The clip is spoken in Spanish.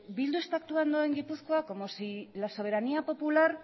bildu está actuando en gipuzkoa como sí la soberanía popular